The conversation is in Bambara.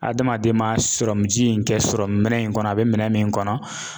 Adamaden ma ji in kɛ minɛ in kɔnɔ a be minɛ min kɔnɔ